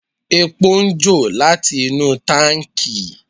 Epo ń jò láti inú táǹkì.